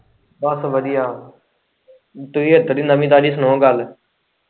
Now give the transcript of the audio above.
ਬਸ ਵਧੀਆ ਤੁਹੀਂ ਇੱਧਰ ਦੀ ਨਵੀ ਤਾਜ਼ੀ ਸੁਣਾਓ ਗੱਲ।